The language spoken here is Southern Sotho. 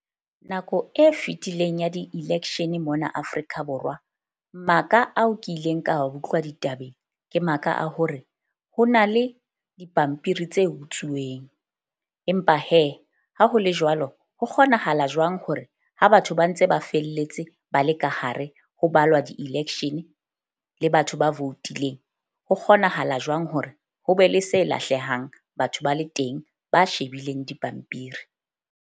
Nako e fetileng ya di-election mona Afrika Borwa, maka ao ke ileng ka utlwa ditabeng ke maka a hore ho na le dipampiri tse utsuweng. Empa ha ho le jwalo ho kgonahala jwang hore ha batho ba ntse ba felletse ba le ka hare ho balwa di-election le batho ba voutileng, ho kgonahala jwang hore ho be le se lahlehang batho ba le teng ba shebileng dipampiri?